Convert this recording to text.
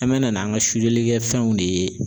An bɛ na n'an ka sulelikɛfɛnw de ye